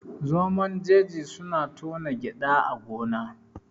Zomon jeji suna tona gyada a gona